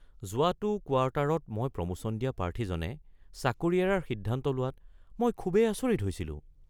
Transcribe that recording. যোৱাটো কোৱাৰ্টাৰত মই প্ৰমোশ্যন দিয়া প্ৰাৰ্থীজনে চাকৰি এৰাৰ সিদ্ধান্ত লোৱাত মই খুবেই আচৰিত হৈছিলোঁ।